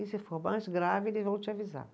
E se for mais grave, eles vão te avisar.